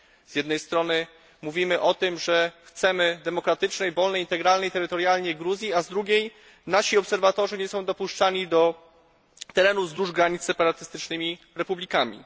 Z jednej strony mówimy, że chcemy demokratycznej, wolnej, integralnej terytorialnie Gruzji, a z drugiej strony nasi obserwatorzy nie są dopuszczani do terenów wzdłuż granic z separatystycznymi republikami.